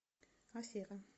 афера